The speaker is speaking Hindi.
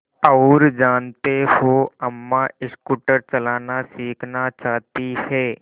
और जानते हो अम्मा स्कूटर चलाना सीखना चाहती हैं